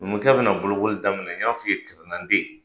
Numukɛ bɛna bolokoli daminɛ n y'a fɔ i ye kirinna tɛ yen